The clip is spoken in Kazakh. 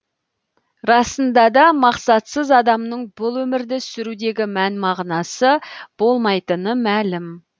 расында да мақсатсыз адамның бұл өмірді сүрудегі мән мағынасы болмайтыны мәлім